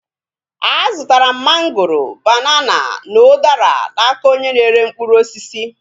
A zụtara m mangoro, banana, na udara n'aka onye na-ere mkpụrụ osisi